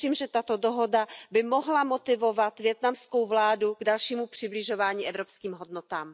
Věřím, že tato dohoda by mohla motivovat vietnamskou vládu k dalšímu přibližování evropským hodnotám.